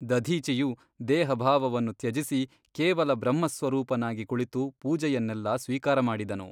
ದಧೀಚಿಯು ದೇಹಭಾವವನ್ನು ತ್ಯಜಿಸಿ ಕೇವಲ ಬ್ರಹ್ಮಸ್ವರೂಪನಾಗಿ ಕುಳಿತು ಪೂಜೆಯನ್ನೆಲ್ಲ ಸ್ವೀಕಾರಮಾಡಿದನು.